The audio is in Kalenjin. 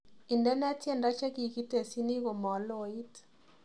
Indene tyendo chegigitesyini komaloit